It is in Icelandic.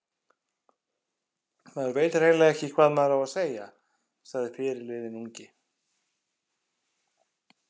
Maður veit hreinlega ekki hvað maður á að segja, sagði fyrirliðinn ungi.